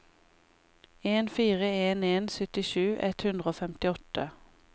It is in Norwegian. en fire en en syttisju ett hundre og femtiåtte